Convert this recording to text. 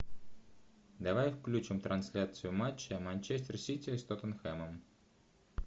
давай включим трансляцию матча манчестер сити с тоттенхэмом